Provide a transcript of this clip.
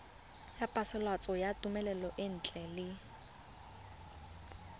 ya phasalatso ya thomelontle le